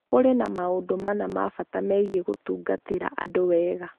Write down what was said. Kũrĩ na maũndũ mana ma bata megiĩ gũtungatĩra andũ wega: